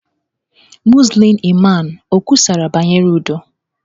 Muzlim Imam o kwusara banyere udo?